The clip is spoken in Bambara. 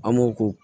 An m'o ko